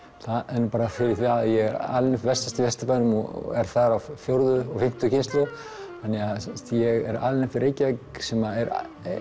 en bara fyrir það að ég er alinn upp vestast í Vesturbænum og er þar af fjórðu og fimmtu kynslóð þannig að ég er alinn upp í Reykjavík sem er